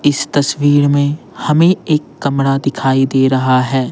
इस तस्वीर में हमें एक कमरा दिखाई दे रहा है।